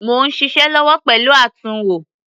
Mò ń ṣiṣẹ́ lọ́wọ́ pẹ̀lú àtúnwò.